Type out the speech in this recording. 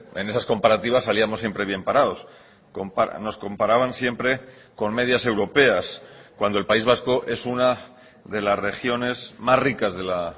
en esas comparativas salíamos siempre bien parados nos comparaban siempre con medias europeas cuando el país vasco es una de las regiones más ricas de la